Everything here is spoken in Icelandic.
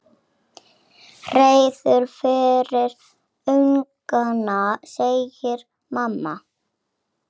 Hreiður fyrir ungana, segir mamma.